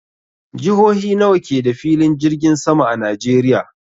Jihohi nawa ke da filin jirgin sama a Najeriya?